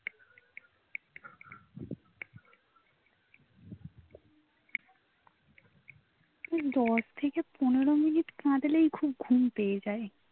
দশ থেকে পনেরো minute কাঁদলেই খুব ঘুম পেয়ে যায়